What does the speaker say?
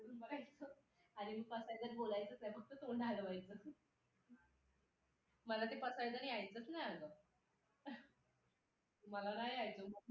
भले आई कडे काय काम असो वा नसो पण बाहेरून आल्यावर ति तिच्याशी बघायचं अस तिला बघायचं असत.तिच्याशी बोलायचं असत.ते स्वामी विवेकानंदानी म्हंटल आहे ना स्वामि तिन्ही जगाचा आई विना भिकारी.